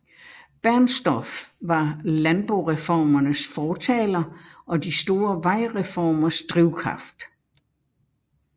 Bernstorff var landboreformernes fortaler og de store vejreformers drivkraft